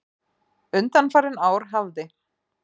Undanfarin ár hafði